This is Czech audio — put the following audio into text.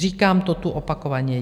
Říkám to tu opakovaně.